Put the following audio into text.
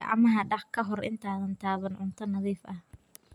Gacmaha dhaq ka hor intaadan taaban cunto nadiif ah.